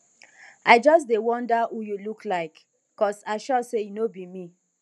i just dey wonder who you look like cause i sure say e no be me